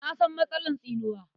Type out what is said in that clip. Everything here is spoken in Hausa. Na san matsalar tsinuwa.